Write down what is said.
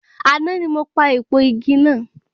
Àná ni mo pa èèpo igi náà.